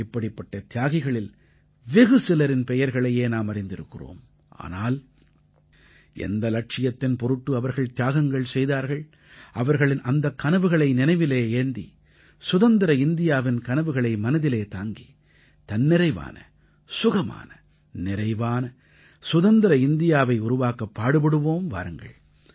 இப்படிப்பட்ட தியாகிகளில் வெகுசிலரின் பெயர்களையே நாம் அறிந்திருக்கிறோம் ஆனால் எந்த இலட்சியத்தின் பொருட்டு அவர்கள் தியாகங்கள் செய்தார்கள் அவர்களின் அந்தக் கனவுகளை நினைவிலே ஏந்தி சுதந்திர இந்தியாவின் கனவுகளை மனதிலே தாங்கி தன்னிறைவான சுகமான நிறைவான சுதந்திர இந்தியாவை உருவாக்கப் பாடுபடுவோம் வாருங்கள்